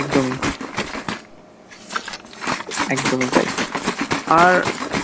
একদমই একদমই তাই আর